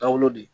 Taabolo de